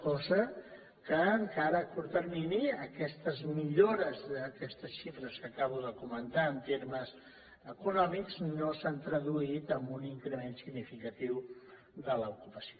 cosa que encara a curt termini aquestes millores d’aquestes xifres que acabo de comentar en termes econòmics no s’han traduït en un increment significatiu de l’ocupació